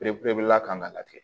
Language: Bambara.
Bere la kan ka la tigɛ